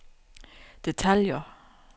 detaljer